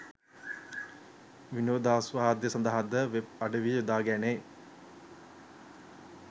විනෝදාස්වාදය සඳහාද වෙබ් අඩවි යොදා ගැනේ